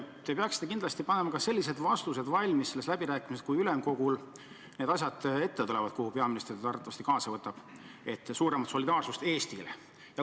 Te peaksite kindlasti panema vastused valmis läbirääkimisteks, kui need asjad tulevad ette ülemkogul – kuhu peaminister teid arvatavasti kaasa võtab –, et saada suuremat solidaarsust Eestile.